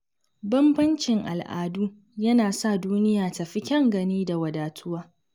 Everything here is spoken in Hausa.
Bambancin al’adu yana sa duniya ta fi kyan gani da wadatuwa.